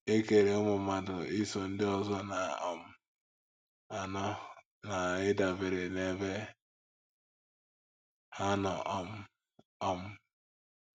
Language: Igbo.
E kere ụmụ mmadụ iso ndị ọzọ na - um anọ na ịdabere n’ebe ha nọ um. um